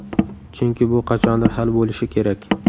Chunki bu qachondir hal bo‘lishi kerak.